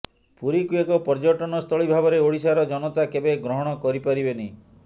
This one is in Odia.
ପୁରୀକୁ ଏକ ପର୍ଯ୍ୟଟନ ସ୍ଥଳୀ ଭାବରେ ଓଡ଼ିଶାର ଜନତା କେବେ ଗ୍ରହଣ କରି ପାରିବେନି